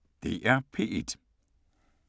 DR P1